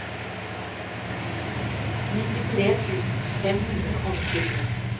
nittitre tusen fem hundre og nittisju